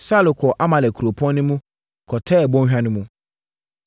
Saulo kɔɔ Amalek kuropɔn no mu, kɔtɛɛ bɔnhwa no mu.